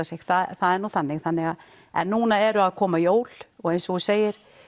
sig það er nú þannig þannig en nú eru að koma jól og eins og þú segir